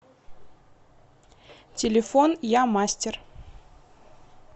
телефон я мастер